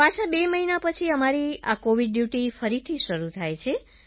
પાછા બે મહિના પછી અમારી આ કોવિડ ડ્યૂટી ફરીથી શરૂ થાય છે